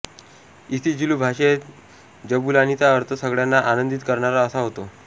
isiZulu भाषेत जबुलानीचा अर्थ सगळ्यांना आनंदित करणारा असा होतो